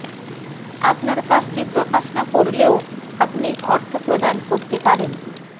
আপনার কাজটি প্রকাশ না করলেও আপনি অর্থ প্রদান করতে পারেন